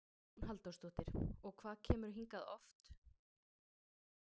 Hugrún Halldórsdóttir: Og hvað kemurðu hingað oft?